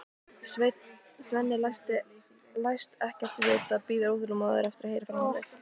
Svenni læst ekkert vita, bíður óþolinmóður eftir að heyra framhaldið.